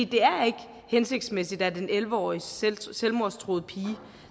det er ikke hensigtsmæssigt at en elleve årig selvmordstruet pige